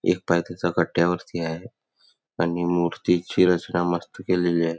एक पाय तेच कट्ट्यावरती आहे आणि मूर्ती ची रचना मस्त केलेली आहे.